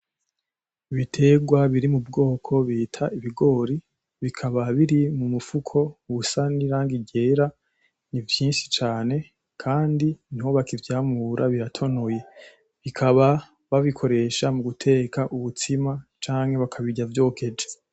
Ibiterwa biri mu bwoko bita ibigori bikaba biri mumufuko usa nirangi ryera ni vyinshi cane kandi niho bakivyamura biratonoye bakaba babikoresha muguteka umutsima canke bakabirya vyokeje.